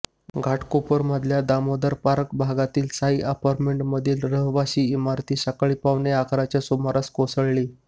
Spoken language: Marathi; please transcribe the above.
घाटकोपरमधल्या दामोदर पार्क भागातल्या साई अपार्टमेंटमधील रहिवासी इमारत सकाळी पावणे अकराच्या सुमारास कोसळली